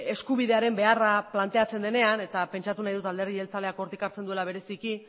eskubidearen beharra planteatzen denean eta pentsatu nahi dut alderdi jeltzaleak hortik hartzen duela bereziki